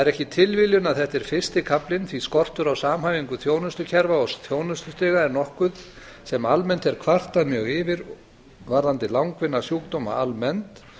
ekki tilviljun að þetta er fyrsti kaflinn því skortur á samhæfingu þjónustukerfa og þjónustustiga er nokkuð sem almennt er kvartað mjög yfir varðandi langvinna sjúkdóma almennt